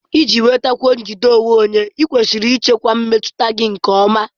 Iji nwetakwuo njide onwe onye, ​​ịkwesịrị ịchịkwa mmetụta gị nke ọma.